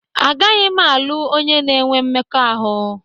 Agaghị m alụ onye na-enwe mmekọahụ